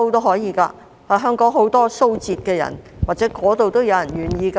香港有很多蘇浙人，或許那裏也有人願意來港。